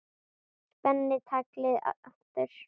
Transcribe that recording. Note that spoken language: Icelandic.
Spenni taglið aftur.